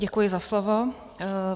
Děkuji za slovo.